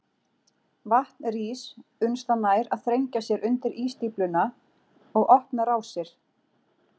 Vatn rís uns það nær að þrengja sér undir ísstífluna og opna rásir.